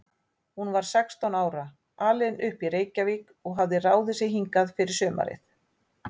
Hún var sextán ára, alin upp í Reykjavík og hafði ráðið sig hingað fyrir sumarið.